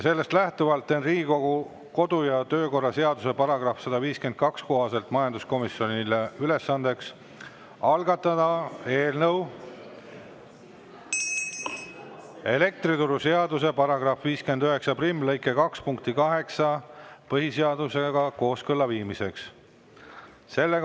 Sellest lähtuvalt teen Riigikogu kodu‑ ja töökorra seaduse § 152 kohaselt majanduskomisjonile ülesandeks algatada eelnõu elektrituruseaduse § 591 lõike 2 punkti 8 põhiseadusega kooskõlla viimiseks.